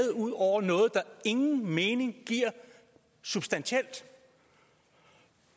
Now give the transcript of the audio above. over noget der ingen mening giver substantielt